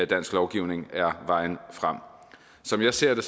dansk lovgivning er vejen frem som jeg ser det